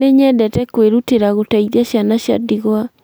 Nĩnyendete kũirũtĩra gũteithia ciana cia ndigwa